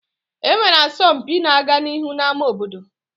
E nwere asọmpi na-aga n'ihu n'ámá obodo